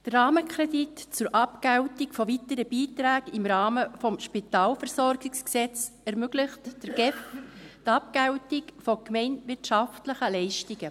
Der Rahmenkredit für die Abgeltung von weiteren Beiträgen im Rahmen des SpVG ermöglicht der GEF die Abgeltung von gemeinwirtschaftlichen Leistungen.